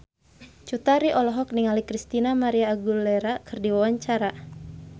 Cut Tari olohok ningali Christina María Aguilera keur diwawancara